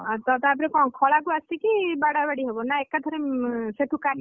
ଆଉ ତାପରେ କ’ଣ ଖଳାକୁ ଆସିକି, ବାଡାବାଡି ହେବ ନା! ଏକାଥରେ ସେଠୁ କାଟିକି?